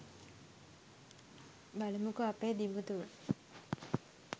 බලමුකො අපේ දිමුතුව